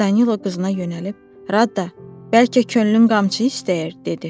Danilo qızına yönəlib, Rada, bəlkə könlün qamçı istəyir, dedi.